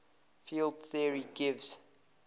field theory gives